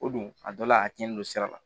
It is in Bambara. O don a dɔ la a tiɲɛni don sira la